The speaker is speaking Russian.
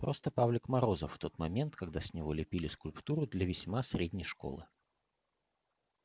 просто павлик морозов в тот момент когда с него лепили скульптуру для весьма средней школы